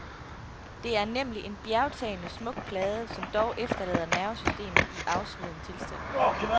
Det er nemlig en bjergtagende smuk plade, som dog efterlader nervesystemet i afsveden tilstand.